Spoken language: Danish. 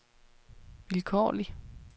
vilkårlig